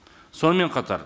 сонымен қатар